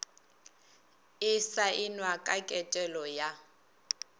e saenwa ka ketelo ya